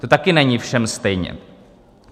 To taky není všem stejně.